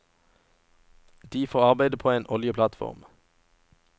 De får arbeide på en oljeplattform.